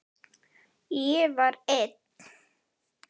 Ég var einn.